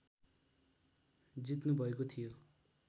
जित्नु भएको थियो